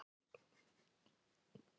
Rauð húð